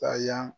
Taa yan